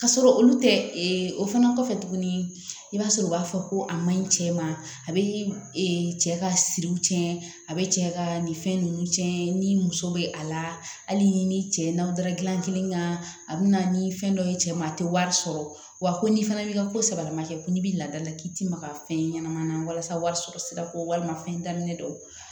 K'a sɔrɔ olu tɛ o fana kɔfɛ tuguni i b'a sɔrɔ u b'a fɔ ko a ma ɲi cɛ ma a bɛ cɛ ka siriw tiɲɛ a bɛ cɛ ka ni fɛn ninnu tiɲɛ ni muso bɛ a la hali ni cɛ n'aw dara gilanni kan a bɛ na ni fɛn dɔ ye cɛ ma a tɛ wari sɔrɔ wa ko n'i fana bɛ ka ko sababa kɛ ko n'i bɛ ladala k'i ti maga fɛn ɲɛnamanin na walasa warisɔrɔ sira kɔ walima fɛn daminɛ don